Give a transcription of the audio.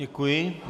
Děkuji.